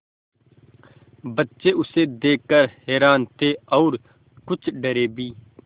बच्चे उसे देख कर हैरान थे और कुछ डरे भी